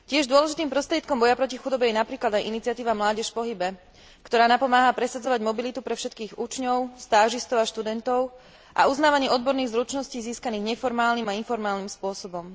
Dôležitým prostriedkom boja proti chudobe je napríklad aj iniciatíva Mládež v pohybe, ktorá napomáha presadzovať mobilitu pre všetkých učňov, stážistov a študentov a uznávanie odborných zručností získaných neformálnym a informálnym spôsobom.